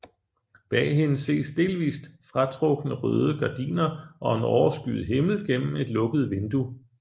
Bag hende ses delvist fratrukne røde gardiner og en overskyet himmel gennem et lukket vindue